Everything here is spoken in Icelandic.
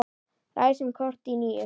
Ræsum kort í níu.